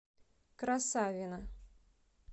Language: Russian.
красавино